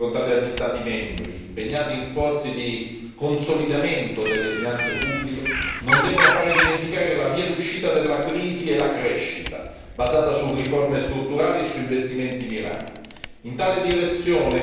Le difficoltà economiche affrontate dagli Stati membri, impegnati in sforzi di consolidamento delle finanze pubbliche, non devono far dimenticare la via d'uscita dalla crisi e la crescita, basata su riforme strutturali e su investimenti mirati.